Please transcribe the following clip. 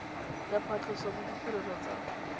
ya phatlhoso le ditirelo tsa